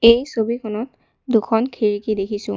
এই ছবিখনত দুখন খিৰিকী দেখিছোঁ।